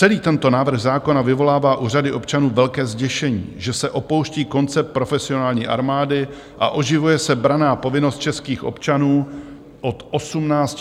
Celý tento návrh zákona vyvolává u řady občanů velké zděšení, že se opouští koncept profesionální armády a oživuje se branná povinnost českých občanů od 18 do 60 let.